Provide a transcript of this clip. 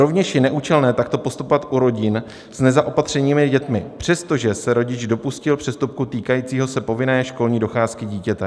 Rovněž je neúčelné takto postupovat u rodin s nezaopatřenými dětmi, přestože se rodič dopustil přestupku týkajícího se povinné školní docházky dítěte.